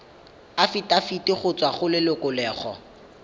afitafiti go tswa go lelokolegolo